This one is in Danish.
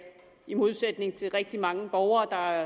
i modsætning til rigtig mange borgere der